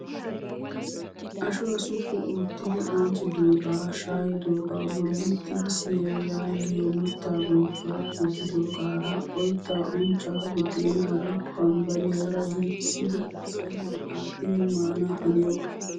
Ashuwaa suppu oottidi anccidoogaa shaayidogaa bolli xibisiyaa yaagiyoo mittaa bonccuwaa gujjidoogaara oyittaa unccaa buddeenaara bambbariyaa giigissidi sayiniyan aattidi maana haniyoogaa.